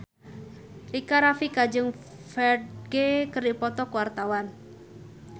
Rika Rafika jeung Ferdge keur dipoto ku wartawan